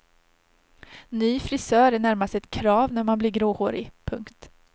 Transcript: Ny frisör är närmast ett krav när man blir gråhårig. punkt